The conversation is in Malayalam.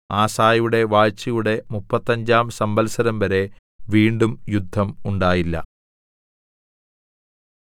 ആസയുടെ വാഴ്ചയുടെ മുപ്പത്തഞ്ചാം സംവത്സരംവരെ വീണ്ടും യുദ്ധം ഉണ്ടായില്ല